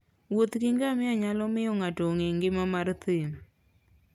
Wuoth gi ngamia nyalo miyo ng'ato ong'e ngima mar thim.